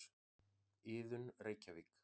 Iðunn, Reykjavík.